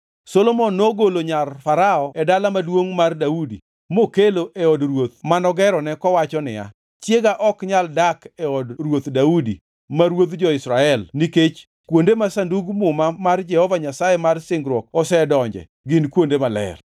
Solomon nogolo nyar Farao e Dala Maduongʼ mar Daudi mokelo e od ruoth manogerone kowacho niya, “Chiega ok nyal dak e od ruoth Daudi ma ruodh jo-Israel nikech kuonde ma Sandug Muma mar Jehova Nyasaye mar singruok osedonje gin kuonde maler.”